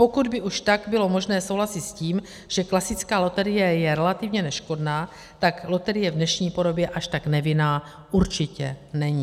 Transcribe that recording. Pokud by už tak bylo možné souhlasit s tím, že klasická loterie je relativně neškodná, tak loterie v dnešní podobě až tak nevinná určitě není.